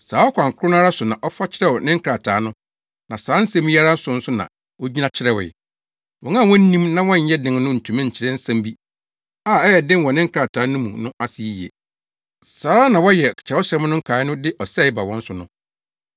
Saa ɔkwan koro no ara so na ɔfa kyerɛw ne nkrataa no na saa nsɛm yi ara so nso na ogyina kyerɛwee. Wɔn a wonnim na wɔnnyɛ den no ntumi nkyerɛ nsɛm bi a ɛyɛ den wɔ ne nkrataa no mu no ase yiye. Saa ara na wɔyɛ Kyerɛwsɛm nkae no de ɔsɛe ba wɔn so no.